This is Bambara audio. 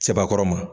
Sebakɔrɔ ma